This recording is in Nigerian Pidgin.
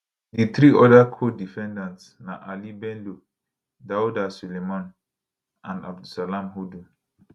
di three oda codefendants na ali bello dauda suleiman and abdulsalam hudu